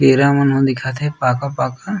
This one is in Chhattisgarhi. केरा मन ह दिखत हे पाका-पाका--